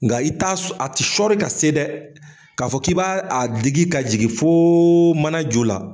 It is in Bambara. Nka i t'a s a ti sɔri ka se dɛ. K'a fɔ k'i b'a a digi ka jigi foo mana ju la